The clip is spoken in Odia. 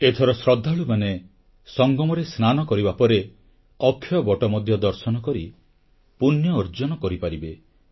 ଏଥର ଶ୍ରଦ୍ଧାଳୁମାନେ ସଙ୍ଗମରେ ସ୍ନାନ କରିବା ପରେ ଅକ୍ଷୟବଟ ମଧ୍ୟ ଦର୍ଶନ କରି ପୂଣ୍ୟ ଅର୍ଜନ କରିପାରିବେ